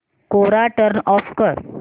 कोरा turn off कर